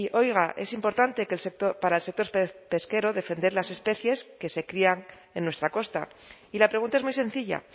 oiga es importante que el sector para el sector pesquero defender las especies que se crían en nuestra costa y la pregunta es muy sencilla